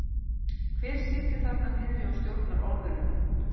Hver situr þarna niðri og stjórnar orðunum?